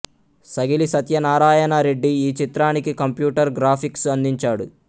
సగిలి సత్యనారాయణ రెడ్డి ఈ చిత్రానికి computer graphics అందించాడు